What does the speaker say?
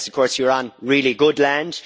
Unless of course you're on really good land.